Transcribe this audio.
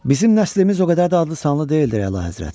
Bizim nəslimiz o qədər də adlı-sanlı deyildir, Əlahəzrət.